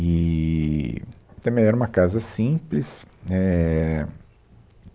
Eee também era uma casa simples. Éh